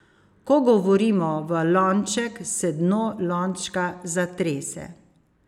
Ko govorimo v lonček, se dno lončka zatrese.